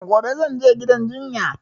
Gobe zan je gidan jinya